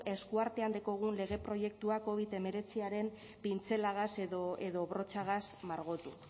esku artean dekogun lege proiektua covid hemeretziaren pintzelagaz edo brotxagaz margotu